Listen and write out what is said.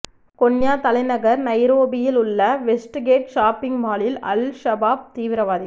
Kenya தலைநகர் நைரோபியில் உள்ள வெஸ்ட்கேட் ஷாப்பிங் மாலில் அல் ஷபாப் தீவிரவாதிகள்